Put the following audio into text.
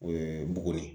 O ye mugu ye